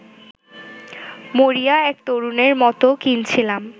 মরিয়া এক তরুণের মতো কিনছিলাম